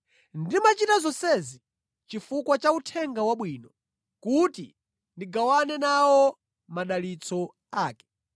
Ndimachita zonsezi chifukwa cha Uthenga Wabwino, kuti ndigawane nawo madalitso ake.